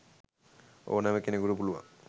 ඔනෑ කෙනෙකුට පුලුවන්.